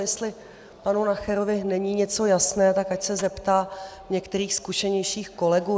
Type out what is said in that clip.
Jestli panu Nacherovi není něco jasné, tak ať se zeptá některých zkušenějších kolegů.